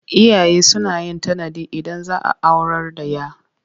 Iyaye suna yin tanadi Idan za a aurar da 'ya.